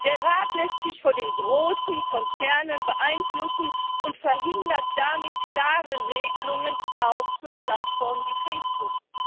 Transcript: Der Rat lässt sich von den großen Konzernen beeinflussen und verhindert damit klare Regelungen auch für Plattformen wie Facebook.